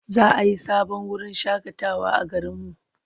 Za a yi sabon wurin shaƙatawa a garinmu.